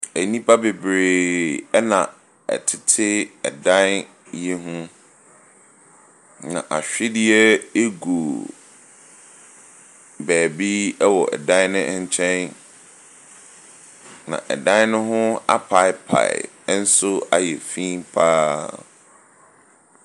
Nnipa bebree ɛna ɛtete ɛdan yi ho. Na awhediɛ egu baabi ɛwɔ ɛdan no nkyɛn. Na ɛdan ne ho apaepae ɛnso ayɛ finn paa.